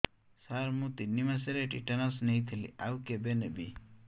ସାର ମୁ ତିନି ମାସରେ ଟିଟାନସ ନେଇଥିଲି ଆଉ କେବେ ନେବି